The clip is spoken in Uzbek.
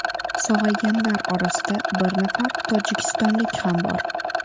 Sog‘ayganlar orasida bir nafar tojikistonlik ham bor.